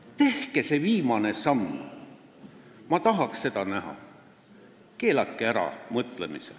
Tehke see viimane samm, ma tahaks seda näha – keelake ära mõtlemine.